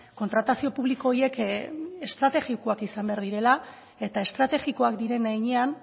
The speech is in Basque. kontratazio publiko horiek estrategikoak izan behar direla eta estrategikoak diren heinean